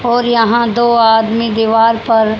और यहां दो आदमी दीवार पर--